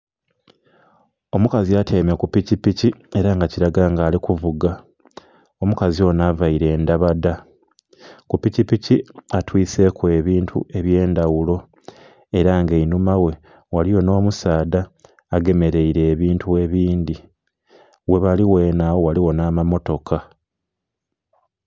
Omukazi atyaime ku pikipiki ela nga kilaga nga ali kuvuga, omukazi onho availe ndhabadha, ku pikipiki atwiseku ebintu eby'endhaghulo ela nga einhuma ghe ghaligho nh'omusaadha agemeleire ebintu ebindhi, ghebali ghenhe agho ghaligho nh'amammotoka.